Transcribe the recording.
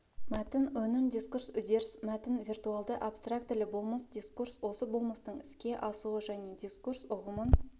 мәтін өнім дискурс үдеріс мәтін виртуалды абстрактілі болмыс дискурс осы болмыстың іске асуы және дискурс ұғымын